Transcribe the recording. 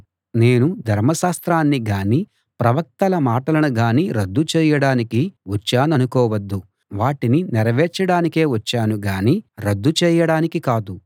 నేను ధర్మశాస్త్రాన్ని గానీ ప్రవక్తల మాటలను గానీ రద్దు చేయడానికి వచ్చాననుకోవద్దు వాటిని నెరవేర్చడానికే వచ్చాను గానీ రద్దు చేయడానికి కాదు